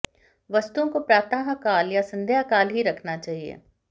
वस्तुओं को प्रातः काल या संध्या काल ही रखना चाहिए